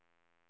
vanlig